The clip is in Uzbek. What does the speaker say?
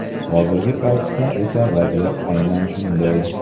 Hozirgi paytda esa vaziyat aynan shunday.